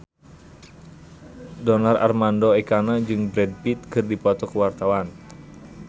Donar Armando Ekana jeung Brad Pitt keur dipoto ku wartawan